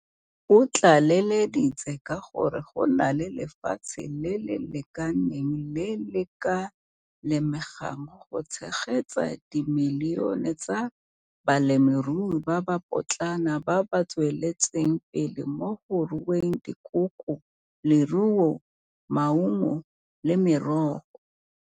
O tlaleleditse ka gore go na le lefatshe le le lekaneng le le ka lemegang go tshegetsa dimilione tsa balemirui ba ba potlana ba ba tsweletseng pele mo go rueng dikoko, leruo, maungo le merogo.